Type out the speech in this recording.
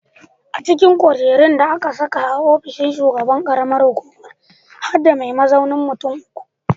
A cikin kujerun da aka sa a ofishin shugaban ƙaramar hukuma har da mai mazaunin mutum uku.